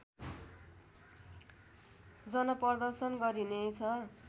जनप्रदर्शन गरिनेछ